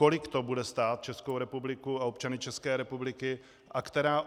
Kolik to bude stát Českou republiku a občany České republiky?